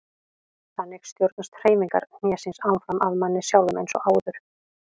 Þannig stjórnast hreyfingar hnésins áfram af manni sjálfum eins og áður.